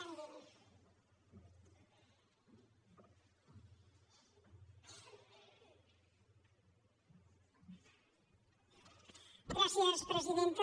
gràcies presidenta